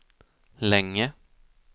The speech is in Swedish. länge